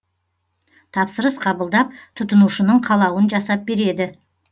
тапсырыс қабылдап тұтынушының қалауын жасап береді